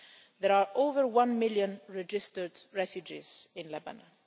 There are over one million registered refugees in Lebanon.